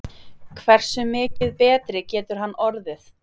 Hversu mikið betri getur hann orðið?